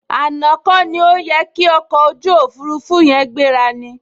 Àná kọ ni ó yẹ ki ọkọ̀ ojú òfurufú yin gbéra ni?